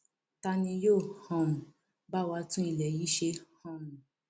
ta ni yóò um bá wa tún ilé yìí ṣe um